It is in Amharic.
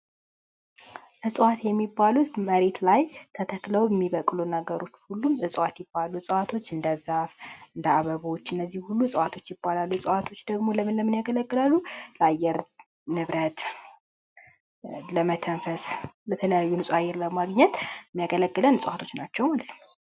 እዋት የሚባሉት መሬት ላይ ተክለው የሚበቅሉ ነገሮች ሁሉ እጽዋት ይባላሉ እዋቶች እንደ ዛፍ እንደ አበባ እነዚህ ሁሉ እዋቶች ይባላሉ እዋቶች ደግሞ ለምን ለምን ያገለግላሉ? ለአየር ንብረት ለመተንፈስ በተለይ ንጹሃየ አየር ለማግኘት የሚያገለግሉ እጽዋቶች ናቸው።